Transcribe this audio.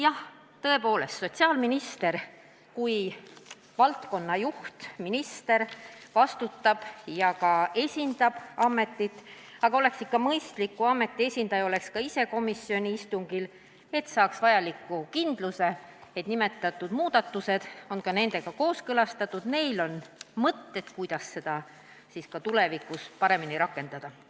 Jah, tõepoolest sotsiaalminister kui valdkonna juhtminister vastutab ja ka esindab ametit, aga oleks ikka mõistlik, kui ameti esindaja oleks ise komisjoni istungil, et saaks vajaliku kindluse, et nimetatud muudatused on nendega kooskõlastatud, neil on mõtteid, kuidas seda kõike tulevikus paremini rakendada.